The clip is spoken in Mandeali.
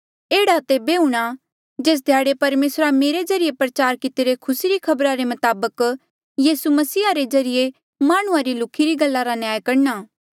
एह्ड़ा तेबे हूंणा जेस ध्याड़े परमेसरा मेरे ज्रीए प्रचार कितिरे खुसी री खबरा रे मताबक यीसू मसीहा रे ज्रीए माह्णुंआं री लुख्ही री गल्ला रा न्याय करणा